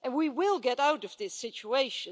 And we will get out of this situation.